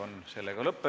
Kohtumiseni homme!